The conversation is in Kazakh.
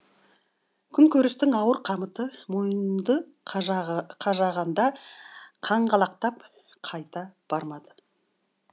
күнкөрістің ауыр қамыты мойынды қажағанда қаңғалақтап қайта бармады